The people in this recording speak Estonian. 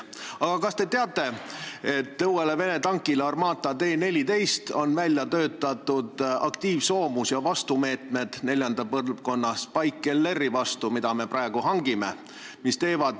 Aga kas te teate, et uuele Vene tankile Armata T-14 on välja töötatud aktiivsoomus ja meetmed neljanda põlvkonna Spike-LR-i vastu, mida me praegu hangime?